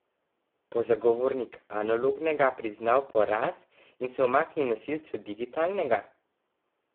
Bo zagovornik analognega priznal poraz in se umaknil nosilcu digitalnega?